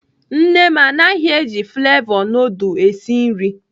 Nne m anaghị eji flevọ nudul esi nri.